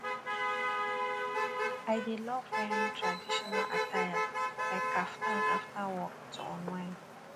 i dey love wearing traditional attire like kaftan after work to unwind